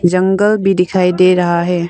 जंगल भी दिखाई दे रहा है।